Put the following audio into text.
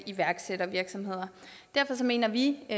iværksættervirksomheder derfor mener vi i